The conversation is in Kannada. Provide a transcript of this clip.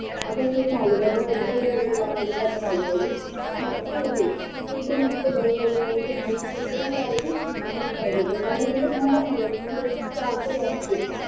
ಅದನ್ನೂ ಸಾ ಹಾಗೆ ದೊಡ್ಡದೊಡ್ಡದು ತುಂಡುಗಳಾಗಿ cut ಮಾಡ್ಕೊಳ್ಳಿ ಮತ್ತೆ ಇದು ಶುಂಠಿ ಮತ್ತೆ ಬಳ್ಳುಳ್ಳಿಯನ್ನು ಸಣ್ಣ ಸಣ್ಣದಾಗಿ cut ಮಾಡ್ಬೇಕು ಸಣ್ಣದಂದ್ರೆ ತುಂಬಾ ಸಣ್ಣದು ನಿಮ್ಗೆ ಎಷ್ಟು ಆಗ್ತದೆ ಅಷ್ಟು.